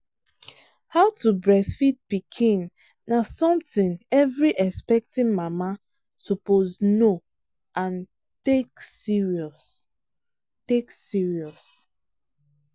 how to breastfeed pikin na something every expecting mama suppose know and take serious. take serious.